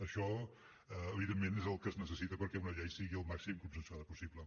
això evidentment és el que es necessita perquè una llei sigui el màxim consensuada possible